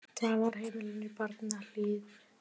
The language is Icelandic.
Dvalarheimilinu Barmahlíð